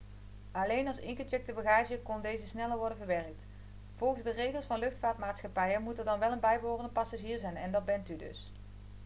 alleen als ingecheckte bagage kon deze sneller worden verwerkt volgens de regels van luchtvaartmaatschappijen moet er dan wel een bijbehorende passagier zijn en dat bent u dus